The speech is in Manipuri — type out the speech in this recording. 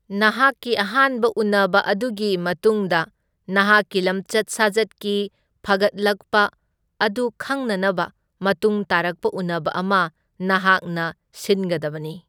ꯅꯍꯥꯛꯀꯤ ꯑꯍꯥꯟꯕ ꯎꯅꯕ ꯑꯗꯨꯒꯤ ꯃꯇꯨꯡꯗ, ꯅꯍꯥꯛꯀꯤ ꯂꯝꯆꯠ ꯁꯥꯖꯠꯀꯤ ꯐꯒꯠꯂꯛꯄ ꯑꯗꯨ ꯈꯪꯅꯅꯕ ꯃꯇꯨꯡ ꯇꯥꯔꯛꯄ ꯎꯅꯕ ꯑꯃ ꯅꯍꯥꯛꯅ ꯁꯤꯟꯒꯗꯕꯅꯤ꯫